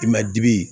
I ma dibi